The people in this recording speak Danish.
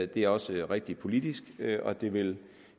det er også rigtigt politisk og det vil